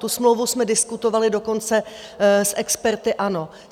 Tu smlouvu jsme diskutovali dokonce s experty ANO.